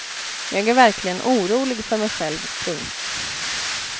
Jag är verkligen orolig för mig själv. punkt